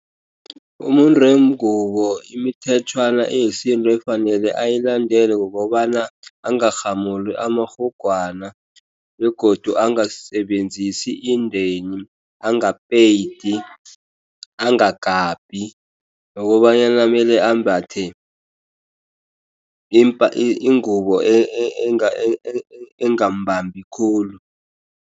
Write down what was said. Umuntu wengubo imithetjhwana yesintu ekufanele ayilandele kukobana bangarhamuli amarhugwana, begodu abangasebenzisi indeni angapeyidi, angagabhi. Nokobanyana mele ambethe ingubo engambambi khulu.